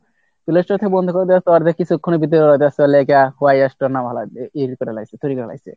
play store থেকে বন্ধ করে দেয়ার পার কিছুক্ষনের ভিতরে দেশের লেগা